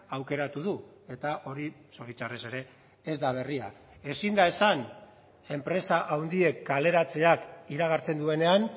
aukeratu du eta hori zoritxarrez ere ez da berria ezin da esan enpresa handiek kaleratzeak iragartzen duenean